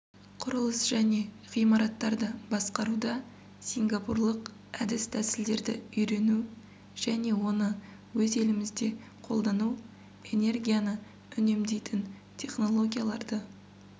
құрылыс және ғимараттарды басқаруда сингапурлық әдіс-тәсілдерді үйрену және оны өз елімізде қолдану энергияны үнемдейтін технологияларды